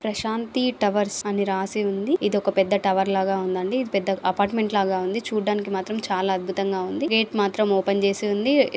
Prashanti towers అని రాసి ఉంది. ఇది ఒక పెద్ద టవర్ లాగా ఉందండి. ఇది పెద్ద అపార్టుమెంట్ లాగా ఉంది. చుడానికి మాత్రం చాలా అద్భుతం గా ఉంది--